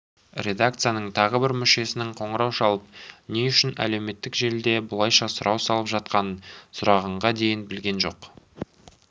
редакцияның тағы бір мүшесінің қоңырау шалып не үшін әлеуметтік желіде бұлайша сұрау салып жатқанын сұрағанға дейін білген жоқ